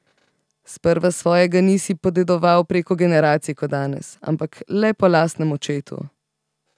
Sprva svojega nisi podedoval preko generacij kot danes, ampak le po lastnem očetu.